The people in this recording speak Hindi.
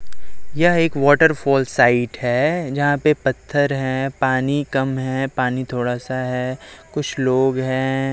यह एक वॉटरफॉल साइट है जहां पे पत्थर है पानी कम है पानी थोड़ा सा है कुछ लोग हैं।